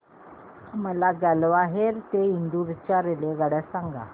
मला ग्वाल्हेर ते इंदूर च्या रेल्वेगाड्या सांगा